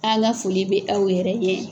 An ka foli bɛ aw yɛrɛ ye.